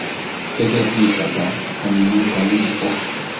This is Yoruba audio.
gẹgẹ bíi bàbá ominú ń kọ mi púpọ